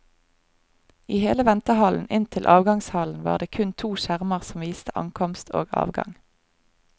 I hele ventehallen inn til avgangshallen var det kun to skjermer som viste ankomst og avgang.